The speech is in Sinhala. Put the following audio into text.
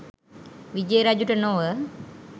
විජය රජුට නොව